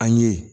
An ye